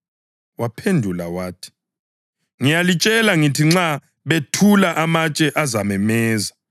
Waphendula wathi, “Ngiyalitshela ngithi nxa bethula amatshe azamemeza.”